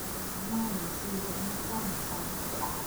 Mathĩna ma meciria nĩ ta mĩtangĩko,